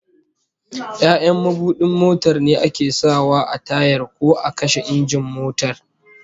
Ya'yan mabudin motar ne ake sa wa a tayar ko a kashe injin motar